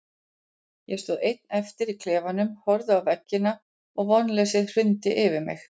Ég stóð einn eftir í klefanum, horfði á veggina og vonleysið hrundi yfir mig.